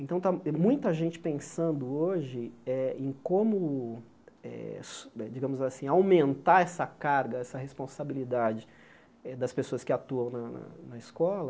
Então, está muita gente pensando hoje eh em como eh, digamos assim, aumentar essa carga, essa responsabilidadeeh das pessoas que atuam na na na escola,